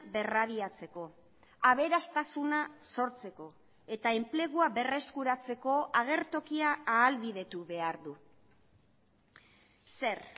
berrabiatzeko aberastasuna sortzeko eta enplegua berreskuratzeko agertokia ahalbidetu behar du zer